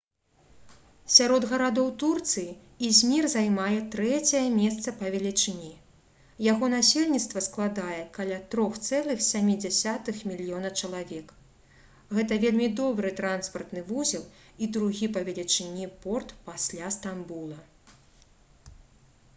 сярод гарадоў турцыі ізмір займае трэцяе месца па велічыні яго насельніцтва складае каля 3,7 мільёна чалавек гэта вельмі добры транспартны вузел і другі па велічыні порт пасля стамбула